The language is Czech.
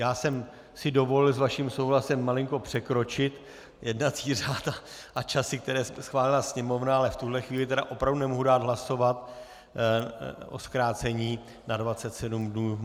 Já jsem si dovolil s vaším souhlasem malinko překročit jednací řád a časy, které schválila Sněmovna, ale v tuhle chvíli opravdu nemohu dát hlasovat o zkrácení na 27 dnů.